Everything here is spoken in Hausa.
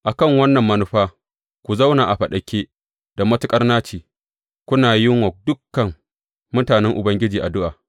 A kan wannan manufa ku zauna a faɗake da matuƙar naci, kuna yin wa dukan mutanen Ubangiji addu’a.